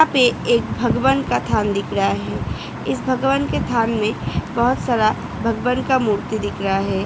यहाँ पे एक भगवन का स्थान दिख रहा है इस भगवान के स्थान में बहुत सारा भगवन का मूर्ति दिख रहा है।